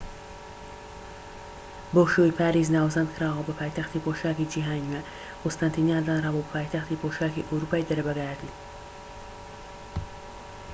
بەو شێوەیەی پاریس ناوزەند کراوە بە پایتەختی پۆشاكی جیهانی نوێ قوستەنتینیە دانرابوو بە پایتەختی پۆشاکی ئەوروپای دەرەبەگایەتی